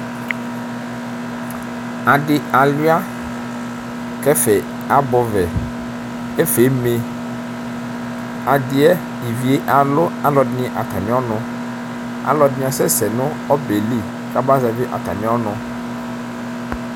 Adi aluia kʋ ɛfɛ abɛɔbɛ ɛfɛ eme ivivyɛ alʋ alʋɛdini atami ɔnʋ alʋɛdini asɛsɛ nʋ ɔbɛli kaba zɛvi atami ɔnʋ